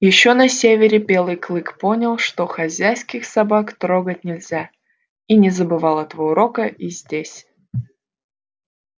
ещё на севере белый клык понял что хозяйских собак трогать нельзя и не забывал этого урока и здесь